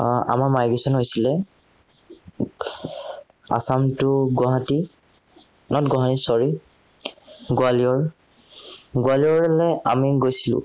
আহ আমাৰ migration আছিলে। assam to guwahati, not guwahati, sorry guwalior গোৱালিয়ৰলে আমি গৈছিলো,